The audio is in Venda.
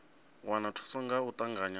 wana thuso nga u ṱavhanya